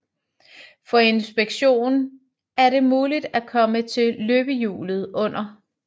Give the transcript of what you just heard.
For inspektion er det mulig at komme til løbehjulet under